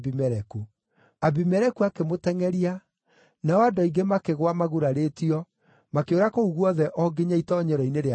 Abimeleku akĩmũtengʼeria, nao andũ aingĩ makĩgũa magurarĩtio makĩũra kũu guothe o nginya itoonyero-inĩ rĩa kĩhingo.